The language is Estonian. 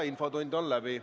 Infotund on läbi.